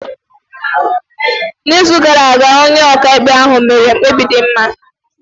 N’izu gara aga, onye ọkaikpe ahụ mere mkpebi dị mma.